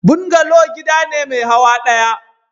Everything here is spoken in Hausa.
Bungalow gida ne mai hawa daya.